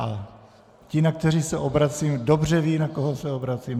A ti, na které se obracím, dobře ví, na koho se obracím.